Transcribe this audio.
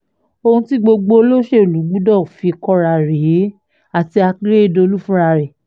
ohun tí gbogbo olóṣèlú gbọ́dọ̀ fi kóra rèé àti àkérédélọ́lù fúnra rẹ̀